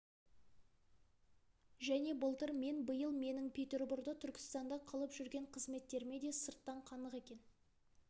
және былтыр мен биыл менің петерборда түркістанда қылып жүрген қызметтеріме де сырттан қанық екен